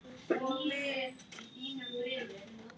En staðan er þröng.